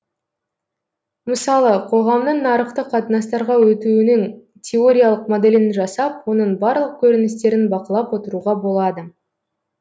мысалы қоғамның нарықтық қатынастарға өтуінің теориялық моделін жасап оның барлық көріністерін бақылап отыруға болады